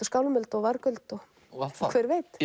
skálmöld og vargöld og hver veit